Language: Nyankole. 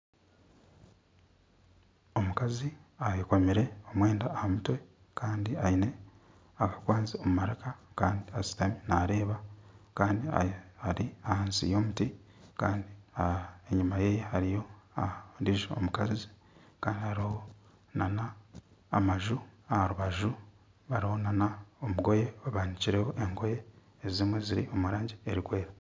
Omukazi ayekomire omwenda aha mutwe kandi aine akakwanzi omu maraka kandi ashutami nareeba kandi ari ahansi y'omuti kandi enyuma ye hariyo ondiijo mukazi kandi hariho nana amaju aha rubaju kandi hariho nana engoye ezimwe ziri omu rangi erikwera